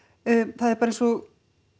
það er bara eins og